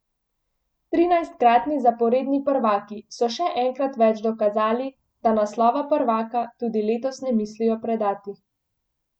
Trinajstkratni zaporedni prvaki so še enkrat več dokazali, da naslova prvaka tudi letos ne mislijo predati.